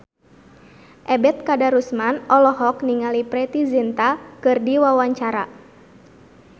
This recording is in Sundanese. Ebet Kadarusman olohok ningali Preity Zinta keur diwawancara